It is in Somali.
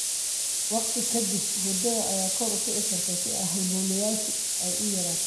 Waqti ka dib, huurada ayaa kor u kici karta si halbowlayaashu ay u yaraato.